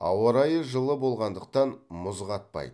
ауа райы жылы болғандықтан мұз қатпайды